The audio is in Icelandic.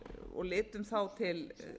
og litum til